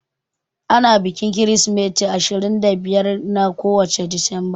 Ana bikin Kirsimeti ne ashirin da biyar na kowace Disamba.